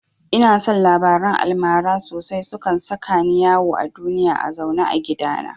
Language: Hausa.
Ina son labaran almara sosai, sukan saka ni yawo a duniya a zaune a gidana